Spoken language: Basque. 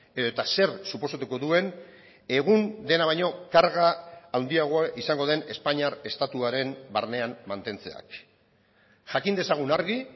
edota zer suposatuko duen egun dena baino karga handiagoa izango den espainiar estatuaren barnean mantentzeak jakin dezagun argi